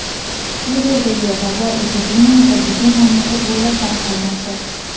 Suriyadagi vabo epidemiyasi butun mamlakat bo‘ylab tarqalmoqda.